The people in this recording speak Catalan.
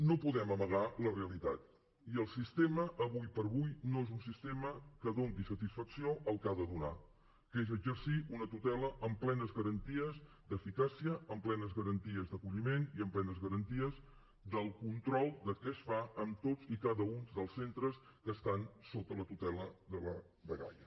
no podem amagar la realitat i el sistema avui per avui no és un sistema que doni satisfacció al que ha de donar que és exercir una tutela amb plenes garanties d’eficàcia amb plenes garanties d’acolliment i amb plenes garanties del control de què es fa en tots i cada un dels centres que estan sota la tutela de la dgaia